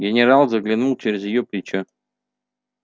генерал заглянул через её плечо